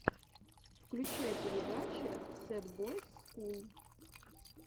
включай передачи сэд бойс скул